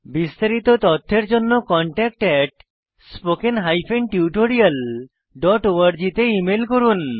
বিস্তারিত তথ্যের জন্য contactspoken tutorialorg তে ইমেল করুন